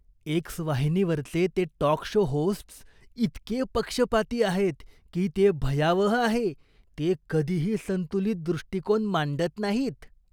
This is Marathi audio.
एक्स वाहिनीवरचे ते टॉक शो होस्ट्स इतके पक्षपाती आहेत, की ते भयावह आहे. ते कधीही संतुलित दृष्टिकोन मांडत नाहीत.